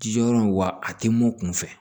Ji yɔrɔ in wa a tɛ mun kun fɛ